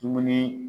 Dumuni